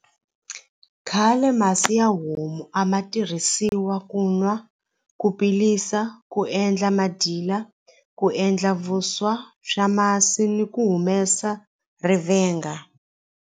Khale masi ya homu a ma tirhisiwa ku nwa ku pilisa ku endla madyila ku endla vuswa swa masi ni ku humesa rivenga.